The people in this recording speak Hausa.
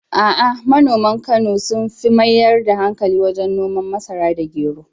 A’a, manoman Kano sun fi mayar da hankali wajen noman masara da gero.